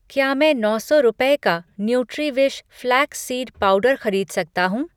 क्या मैं नौ सौ रुपये का न्यूट्रीविश फ़्लैक्स सीड पाउडर खरीद सकता हूँ?